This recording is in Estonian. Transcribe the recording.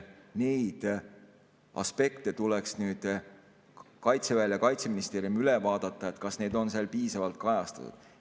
Neid aspekte tuleks nüüd Kaitseväel ja Kaitseministeeriumil üle vaadata, kas neid on seal piisavalt kajastatud.